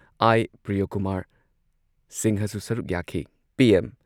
ꯑꯥꯏ. ꯄ꯭ꯔꯤꯌꯣꯀꯨꯃꯥꯔ ꯁꯤꯡꯍꯁꯨ ꯁꯔꯨꯛ ꯌꯥꯈꯤ꯫ ꯄꯤ.ꯑꯦꯝ